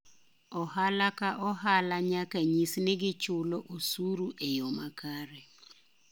Ohala ka ohala nyaka nyis nigi chulo osuru e yo makare.